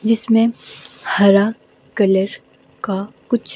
जिसमें हरा कलर का कुछ--